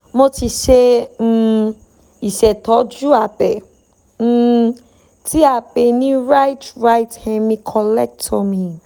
mo ti ṣe um ìṣètọ́jú abẹ́ um tí a pè ní right right hemi collectomy